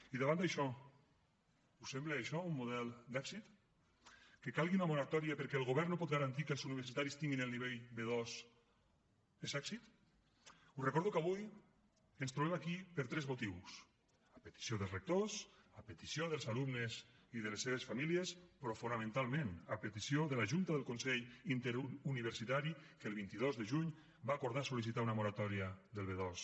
i davant d’això us sembla això un model d’èxit que calgui una moratòria perquè el govern no pot garantir que els universitaris tinguin el nivell b2 és èxit us recordo que avui ens trobem aquí per tres motius a petició dels rectors a petició dels alumnes i de les seves famílies però fonamentalment a petició de la junta del consell interuniversitari que el vint dos de juny va acordar sol·licitar una moratòria del b2